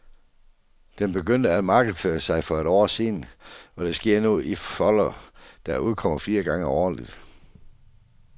Den begyndte at markedsføre sig for et år siden, og det sker nu i en folder, der udkommer fire gange årligt.